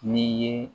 Ni ye